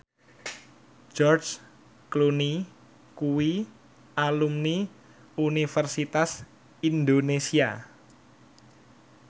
George Clooney kuwi alumni Universitas Indonesia